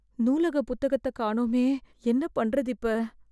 நூலக புத்தகத்தக் காணோமே.. என்ன பண்றது இப்ப?